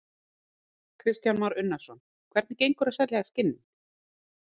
Kristján Már Unnarsson: Hvernig gengur að selja skinnin?